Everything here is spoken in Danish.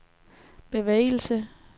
bevægelse